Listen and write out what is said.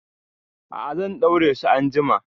A'a, zan ɗaure su anjima.